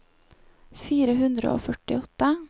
fire hundre og førtiåtte